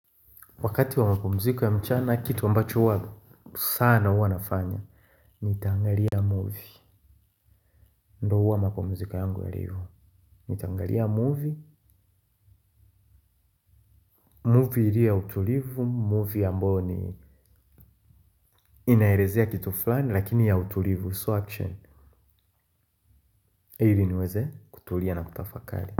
Wakati wa mapumziko ya mchana kitu ambacho huwa sana huwa nafanya. Nitaangalia movie. Ndo uwa mapumziko yangu yalivyo. Nitaangalia movie Movie ilio ya utulivu Movie ambayo ni inaelezea kitu fulani. Lakini ya utulivu. Sio action ili niweze kutulia na kutafakari.